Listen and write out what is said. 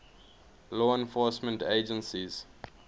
law enforcement agencies